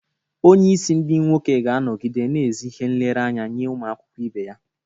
Onye isi ndi nwoke ga-anọgide na ezi ihe nlereanya nye ụmụ akwụkwọ ibe ya.